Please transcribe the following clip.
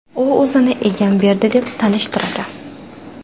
U o‘zini Egamberdi deb tanishtiradi.